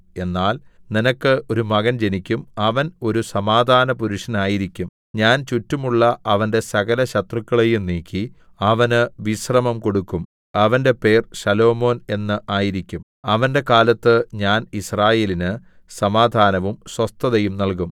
എന്നാൽ നിനക്ക് ഒരു മകൻ ജനിക്കും അവൻ ഒരു സമാധാനപുരുഷനായിരിക്കും ഞാൻ ചുറ്റുമുള്ള അവന്റെ സകലശത്രുക്കളെയും നീക്കി അവന് വിശ്രമം കൊടുക്കും അവന്റെ പേർ ശലോമോൻ എന്ന് ആയിരിക്കും അവന്റെ കാലത്ത് ഞാൻ യിസ്രായേലിന് സമാധാനവും സ്വസ്ഥതയും നല്കും